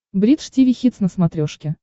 бридж тиви хитс на смотрешке